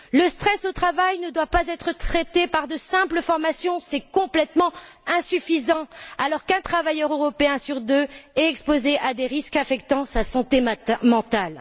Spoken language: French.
Le stress au travail ne doit pas être traité par de simples formations, ce qui s'avère complètement insuffisant alors qu'un travailleur européen sur deux est exposé à des risques affectant sa santé mentale.